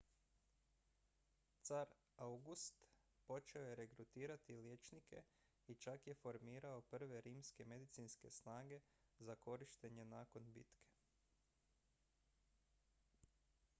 car august počeo je regrutirati liječnike i čak je formirao prve rimske medicinske snage za korištenje nakon bitke